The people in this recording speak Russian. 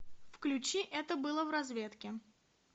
включи это было в разведке